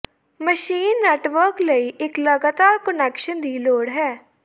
machine network ਲਈ ਇੱਕ ਲਗਾਤਾਰ ਕੁਨੈਕਸ਼ਨ ਦੀ ਲੋੜ ਹੈ